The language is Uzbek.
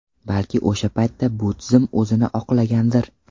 Balki o‘sha paytda bu tizim o‘zini oqlagandir.